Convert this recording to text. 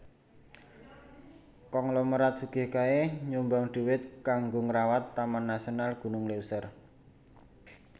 Konglomerat sugih kae nyumbang duit kanggo ngrawat Taman Nasional Gunung Leuser